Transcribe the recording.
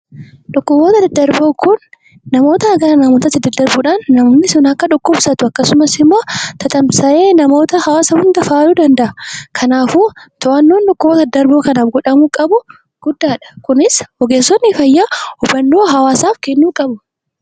Dhukkuboota daddarboo kun namootaa gara namootaatti daddarbuudhaan namni sun akka dhukkubsatu akkasumas immoo tatamsa'ee namoota hawaasa hunda faaluu danda'a. Kanaafuu to'annoon dhukkuboota daddarboo kanaaf godhamuu qabu guddaadha. Kunis ogeessonni fayyaa hubannoo hawaasaaf kennuu qabu.